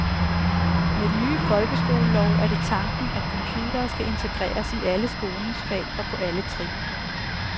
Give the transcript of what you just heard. Med den nye folkeskolelov er det tanken at computere skal integreres i alle skolens fag og på alle trin.